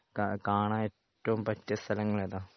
കാണാൻ ഏറ്റവും പറ്റിയ സ്ഥലങ്ങൾ ഏതാ?